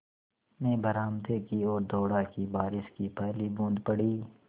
मैं बरामदे की ओर दौड़ा कि बारिश की पहली बूँद पड़ी